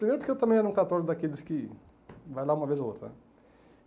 Primeiro porque eu também era um católico daqueles que... vai lá uma vez ou outra.